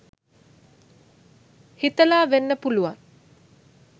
හිතලා වෙන්න පුළුවන්.